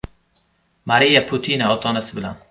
Mariya Putina ota-onasi bilan.